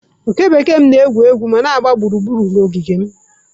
Oke bekee m na-egwu ma na-agba gburugburu ogige m.